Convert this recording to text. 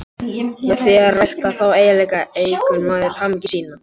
Með því að rækta þá eiginleika eykur maður hamingju sína.